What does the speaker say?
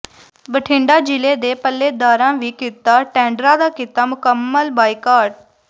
ਬਿਠੰਡਾ ਜ਼ਿਲ੍ਹੇ ਦੇ ਪੱਲੇਦਾਰਾਂ ਵੀ ਕੀਤਾ ਟੈਂਡਰਾਂ ਦਾ ਕੀਤਾ ਮੁਕੰਮਲ ਬਾਈਕਾਟ